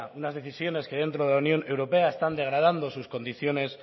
unas decisiones que hay dentro de la unión europea están degradando sus condiciones